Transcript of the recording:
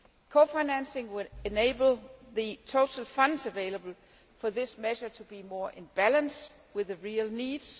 Cofinancing will enable the total funds available for this measure to be more in balance with the real needs